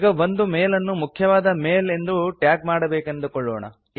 ಈಗ ಒಂದು ಮೇಲ್ ಅನ್ನು ಮುಖ್ಯವಾದ ಮೇಲ್ ಎಂದು ಟ್ಯಾಗ್ ಮಾಡಬೇಕೆಂದುಕೊಳ್ಳೋಣ